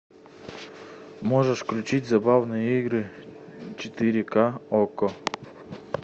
можешь включить забавные игры четыре ка окко